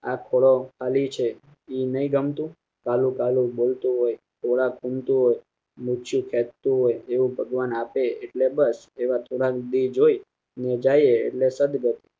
આપણો ખાલી છે એ નહીં ગમતું કાલું કાલુ બોલતું હોય ખોળા ખૂંદતું હોય ફેંકાતુ હોય એવું ભગવાન આપે એટલે બસ એવા થોડાક દી જોઈ ને જઈએ એટલે સદગત